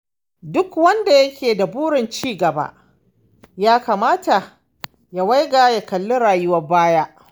Duk wanda yake da burin cigaba ya kamata ya waiga ya kalli rayuwar baya.